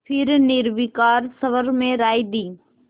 फिर निर्विकार स्वर में राय दी